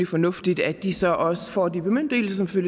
fornuftigt at de så også får de bemyndigelser der